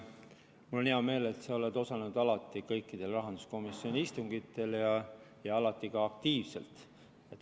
Mul on hea meel, et sa oled alati aktiivselt osalenud kõikidel rahanduskomisjoni istungitel.